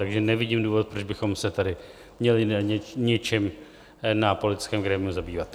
Takže nevidím důvod, proč bychom se tady měli něčím na politickém grémiu zabývat.